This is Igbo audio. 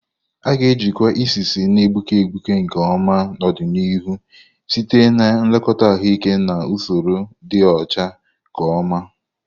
A ga-ejikwa isi isi na-egbuke egbuke nke ọma n'ọdịnihu site na nlekọta ahụike na usoro ịdị ọcha ka mma.